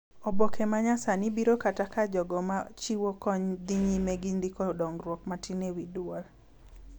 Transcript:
Oboke ma nyasani biro kata ka jogo ma chiwo kony dhi nyime gi ndiko dongruok matin e wi dwol